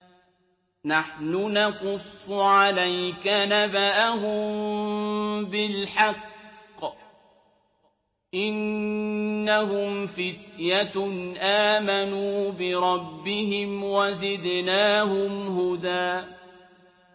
نَّحْنُ نَقُصُّ عَلَيْكَ نَبَأَهُم بِالْحَقِّ ۚ إِنَّهُمْ فِتْيَةٌ آمَنُوا بِرَبِّهِمْ وَزِدْنَاهُمْ هُدًى